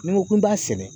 Ni n ko n b'a sɛnɛ